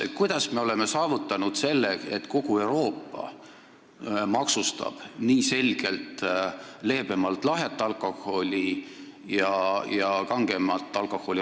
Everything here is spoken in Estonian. Kuidas me oleme saavutanud selle, et kogu Euroopa maksustab lahjat alkoholi selgelt leebemalt ja kangemat alkoholi rohkem?